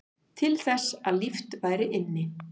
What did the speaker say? Til þess að líft væri inni